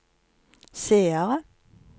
seere